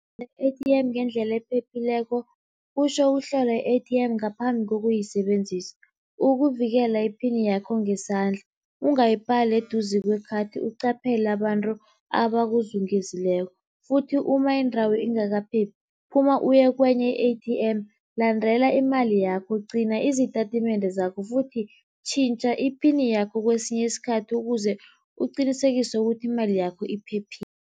I-A_T_M ngendlela ephephileko kutjho ukuhlola i-A_T_M ngaphambi kokuyisebenzisa, ukuvikela iphini yakho ngesandla, ungayibhali eduze kwekhathi, uqaphele abantu abakuzungezileko futhi uma indawo ingakaphephi phuma uye kenye i-A_T_M. Landela imali yakho gcina izitatimende zakho futhi tjhintjha iphini yakho kesinye isikhathi ukuze uqinisekise ukuthi imali yakho iphephile.